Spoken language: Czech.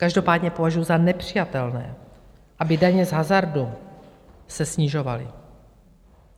Každopádně považuji za nepřijatelné, aby daně z hazardu se snižovaly.